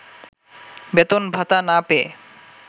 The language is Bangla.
বেতন ভাতা না পেয়ে